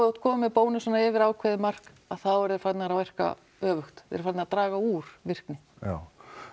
ert kominn með bónusana yfir ákveðið mark þá eru þeir farnir að virka öfugt þeir eru farnir að draga úr virkni já